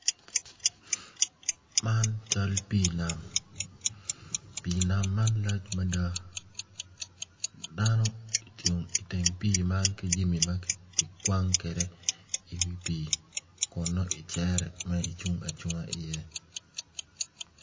Man cal pii nam pii nam man lac mada dano ocung iteng pii man ki jami ma kikwang kwede iwi pii kun nongo icero ma icung acunga iye.